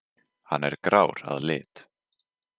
Hann er grár að lit.